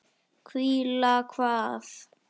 Hvíla hvað?